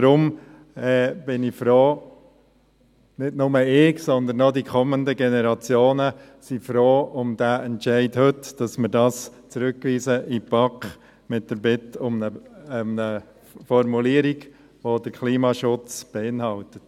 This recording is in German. Darum bin ich froh, nicht nur ich, sondern auch die kommenden Generationen sind froh um diesen Entscheid heute, dass wir dies in die BaK zurückweisen, mit der Bitte um eine Formulierung, die den Klimaschutz enthält.